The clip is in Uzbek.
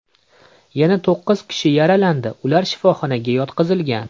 Yana to‘qqiz kishi yaralandi, ular shifoxonaga yotqizilgan.